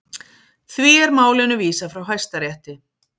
Því er málinu vísað frá Hæstarétti